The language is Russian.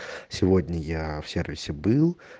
сегодня я в сервисе был